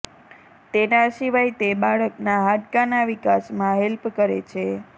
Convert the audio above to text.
તેના સિવાય તે બાળક ના હાડકા ના વિકાસ માં હેલ્પ કરે છે